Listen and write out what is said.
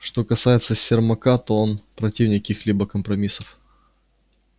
что касается сермака то он противник каких-либо компромиссов